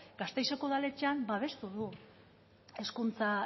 gasteizeko udaletxean babestu du hezkuntza